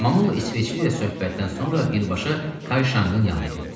Mamulla isveçli ilə söhbətdən sonra birbaşa Kayşangın yanına getdi.